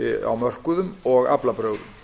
á mörkuðum og aflabrögðum